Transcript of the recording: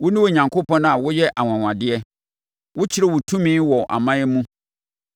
Wone Onyankopɔn a woyɛ anwanwadeɛ; wokyerɛ wo tumi wɔ aman mu.